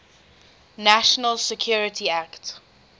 national security act